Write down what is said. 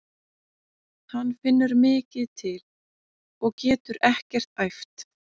Hann finnur mikið til og getur ekkert æft.